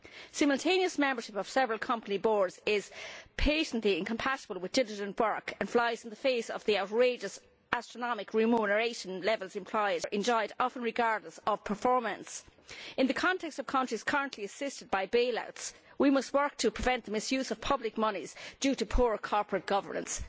Simultaneous membership of several company boards is patently incompatible with diligent work and flies in the face of the outrageous astronomical remuneration levels enjoyed, often regardless of performance. In the context of countries currently assisted by bailouts we must work to prevent the misuse of public monies due to poor corporate governance.